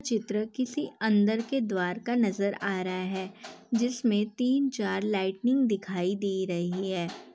चित्र किसी अंदर के द्वार का नज़र आ रहा है जिसमे तीन चार लाइटिंग दिखाई दे रही है ।